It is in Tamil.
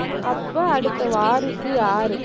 அப்ப, அடுத்த வாரிசு யாருக்கு?